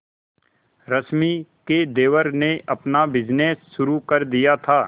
रश्मि के देवर ने अपना बिजनेस शुरू कर दिया था